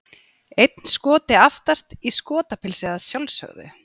Einn Skoti aftast, í Skotapilsi að sjálfsögðu!